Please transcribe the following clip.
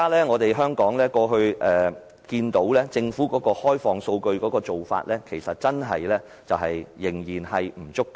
我們看到，政府在過去開放數據的做法仍然不足夠。